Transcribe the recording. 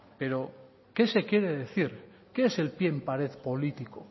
pero qué se quiere decir qué ese el pie en pared político